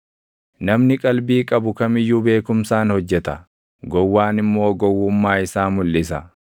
Namni qalbii qabu kam iyyuu beekumsaan hojjeta; gowwaan immoo gowwummaa isaa mulʼisa.